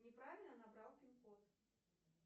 неправильно набрал пин код